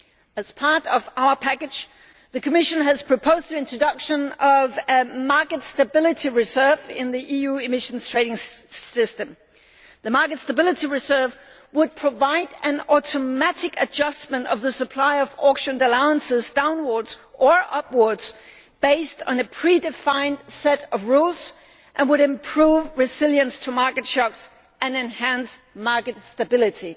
As part of our package, the Commission has proposed the introduction of a market stability reserve in the EU Emissions Trading System. The market stability reserve would provide an automatic adjustment of the supply of auctioned allowances downwards or upwards, based on a pre defined set of rules, and would improve resilience to market shocks and enhance market stability.